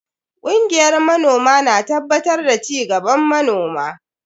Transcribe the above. Kungiyar manoma na tabbatar da cigaban manoma.